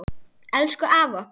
Elsku afi okkar.